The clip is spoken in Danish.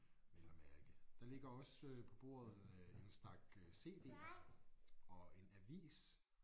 Vel at mærke. Der ligger også på bordet øh en stak øh cd'er og en avis